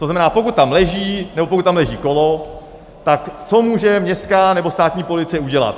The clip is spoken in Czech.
To znamená, pokud tam leží nebo pokud tam leží kolo, tak co může městská nebo státní policie udělat?